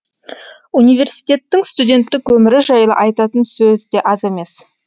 университеттің студенттік өмірі жайлы айтатын сөз де аз емес